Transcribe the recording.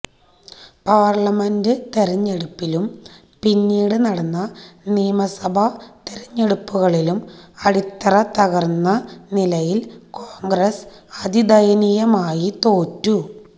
parliament തെരഞ്ഞെടുപ്പിലും പിന്നീട് നടന്ന നിയമസഭ തിരഞ്ഞെടുപ്പുകളിലും അടിത്തറതകര്ന്ന നിലയില് കോണ്ഗ്രസ് അതിദയനീയമായി തോറ്റു